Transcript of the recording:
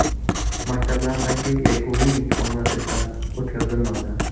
Maktablardagi yakuniy imtihonlar esa o‘tkazilmadi .